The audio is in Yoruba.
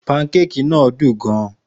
Pankeki náà dùn gan-an.